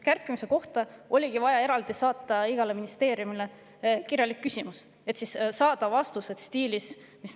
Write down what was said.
Kärpimise kohta oligi vaja saata igale ministeeriumile eraldi kirjalik küsimus, et saada vastused.